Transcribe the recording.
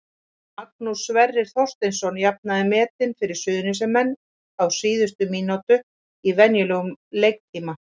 Magnús Sverrir Þorsteinsson jafnaði metin fyrir Suðurnesjamenn á síðustu mínútu í venjulegum leiktíma.